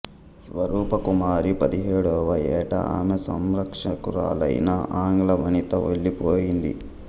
స్వరూప కుమారి పదిహేడవ ఏట ఆమె సంరక్షకురాలైన ఆంగ్ల వనిత వెళ్ళిపోయింది